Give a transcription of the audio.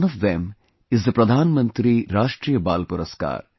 One of them is the Pradhan Mantri Rashtriya Baal Puraskaar